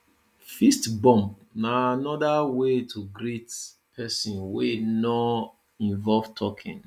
fist bump na anoda way to greet person wey no involve talking